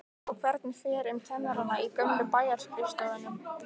Og hvernig fer um kennarana í gömlu bæjarskrifstofunum?